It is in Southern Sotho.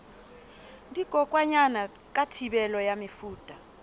dikokwanyana ka thibelo ya mefuta